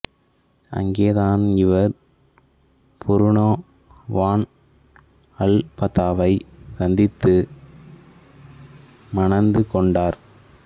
அங்கே தான் இவர் புரூனோ வான் அல்பாதாவைச் சந்தித்து மணந்துகொண்டார்